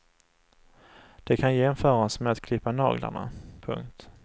Det kan jämföras med att klippa naglarna. punkt